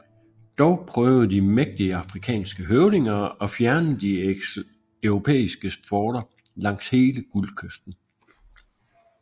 Dog prøvede de mægtige afrikanske høvdinger at fjerne de europæiske forter langs hele Guldkysten